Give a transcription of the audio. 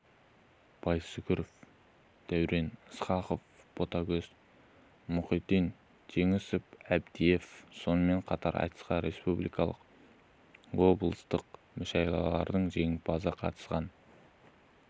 байсүгіров дәурен ысқақов ботагөз мұхитдин ержеңіс әбдиев сонымен қатар айтысқа республикалық облыстық мүшәйралардың жеңімпазы қазақстан